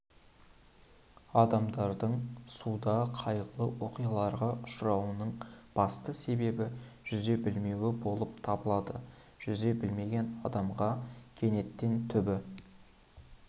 адамдардың суда қайғылы оқиғаларға ұшырауының басты себебі жүзе білмеуі болып табылады жүзе білмеген адамға кенеттен түбі